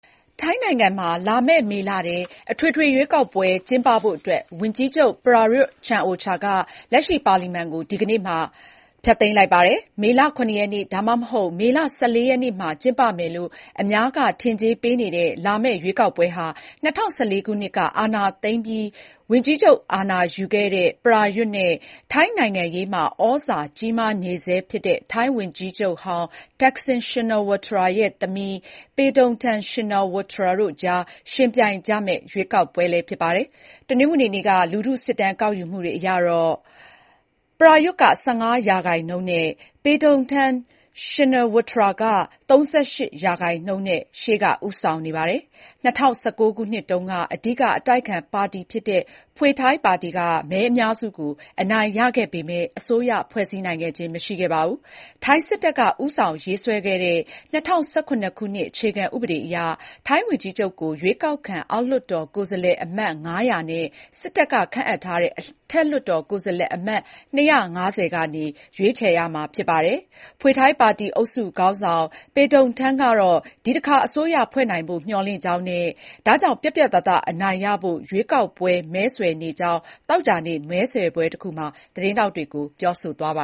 ထိုင်းနိုင်ငံမှာ လာမယ့် မေလထဲ အထွေထွေရွေးကောက်ပွဲ ကျင်းပဖို့အတွက်ဝန်ကြီးချုပ် ပရာရွတ်ချန်အိုချာ က လက်ရှိ ပါလီမန်ကို ဒီကနေ့ တနင်္လာနေ့မှာ ဖျက်သိမ်းလိုက်ပါတယ်။ မေလ ၇ ရက်နေ့၊ ဒါမှမဟုတ် မေလ ၁၄ ရက်နေ့မှာ ကျင်းပမယ်လို့ အများက ထင်ကြေးပေးနေတဲ့ လာမယ့် ရွေးကောက်ပွဲဟာ ၂၀၁၄ ခုနှစ်က အာဏာသိမ်းပြီး ဝန်ကြီးချုပ် အာဏာရယူခဲ့တဲ့ပရာရွတ်နဲ့ ထိုင်းနိုင်ငံရေးမှာ ဩဇာကြီးမားနေဆဲဖြစ်တဲ့ ထိုင်းဝန်ကြီးချုပ်ဟောင်း သက်ဆင်ရှင်နာဝပ် ရဲ့ သမီး ပေတုန်ထန် ရှင်နာဝပ်ထရာ တို့အကြား ယှဉ်ပြိုင်ကြမယ့် ရွေးကောက်ပွဲလည်း ဖြစ်ပါတယ်။ တနင်္ဂနွေနေ့က လူထုစစ်တမ်းကောက်ယူမှုတွေအရတော့ ပေတုန်ထန်က ၃၈ ရာခိုင်နှုန်း၊ ပရာရွတ်က ၁၅ ရာခိုင်နှုန်းနဲ့ ပေတုန်ထန်က ရှေ့ကဦးဆောင်နေပါတယ်။ ၂၀၁၉ ခုနှစ်တုန်းက အဓိကအတိုက်အခံပါတီဖြစ်တဲ့ Pheu Thai ပါတီက မဲအများစုကို အနိုင်ရခဲ့ပေမယ့် အစိုးရ ဖွဲ့စည်းနိုင်ခြင်း မရှိခဲ့ပါဘူး။ ထိုင်းစစ်တပ်က ဦးဆောင်ရေးဆွဲခဲ့တဲ့ ၂၀၁၇ ခုနှစ် အခြေခံဥပဒေအရ ထိုင်းဝန်ကြီးချုပ်ကို ရွေးကောက်ခံအောက်လွှတ်တော်ကိုယ်စားလှယ်အမတ် ၅၀၀ နဲ့ စစ်တပ်က ခန့်အပ်ထားတဲ့ အထက်လွှတ်တော်ကိုယ်စားလှယ်အမတ် ၂၅၀ ကနေ ရွေးချယ်ရမှာ ဖြစ်ပါတယ်။ Pheu Thai ပါတီအုပ်စု ခေါင်းဆောင် ပေတုန်ထန်ကတော့ ဒီတစ်ခါ အစိုးရဖွဲ့နိုင်ဖို့ မျှော်လင့်ကြောင်း၊ ဒါကြောင့် ပြတ်ပြတ်သားသား အနိုင်ရဖို့ ရွေးကောက်ပွဲမဲဆွယ်နေကြောင်း သောကြာနေ့ မဲဆွယ်ပဲတစ်ခုမှာ သတင်းထောက်တွေကို ပြောဆိုသွားပ